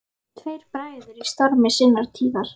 Tveir bræður í stormi sinnar tíðar.